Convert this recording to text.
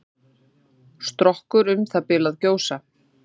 Strokkur um það bil að gjósa.